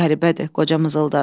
Qəribədir, qoca mızıldandı.